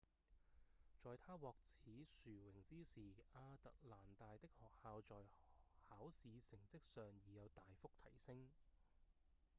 在她獲此殊榮之時亞特蘭大的學校在考試成績上已有大幅提升